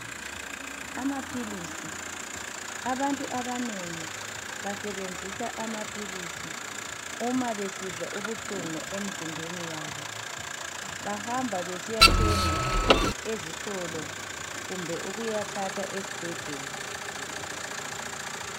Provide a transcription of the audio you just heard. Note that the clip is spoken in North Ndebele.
Amaphilisi, abantu abanengi basebenzisa amaphilisi uma besizwa ubuhlungu emzimbeni yabo. Bahamba besiyathenga ezitolo kumbe ukuyathatha esibhedlela.